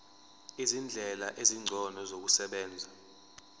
izindlela ezingcono zokusebenza